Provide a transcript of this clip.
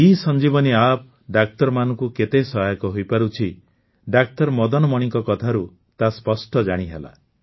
eSanjeevani App ଡାକ୍ତରମାନଙ୍କୁ କେତେ ସହାୟକ ହୋଇପାରୁଛି ଡାକ୍ତର ମଦନମଣିଙ୍କ କଥାରୁ ତାହା ସ୍ପଷ୍ଟ ଜାଣିହେଲା